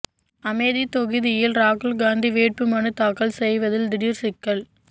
அமேதி தொகுதியில் ராகுல் காந்தி வேட்பு மனுத்தாக்கல் செய்வதில் திடீர் சிக்கல்